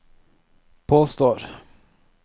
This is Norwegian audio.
påstår